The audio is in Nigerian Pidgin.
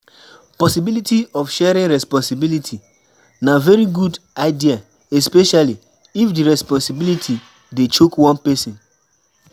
Possibility of sharing responsibility na very good idea especially if di responsibility dey choke one person